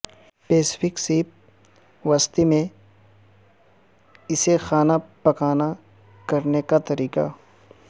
Pacific سیپ وسطی میں اسے کھانا پکانا کرنے کا طریقہ